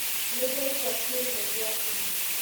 Nĩndaĩgũa kĩrĩro gĩa thimu.